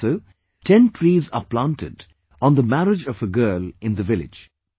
Also, 10 trees are planted on the marriage of a girl in the village